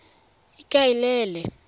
ikaelele